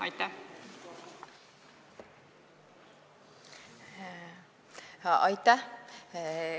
Aitäh!